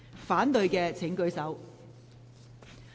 反對的請舉手。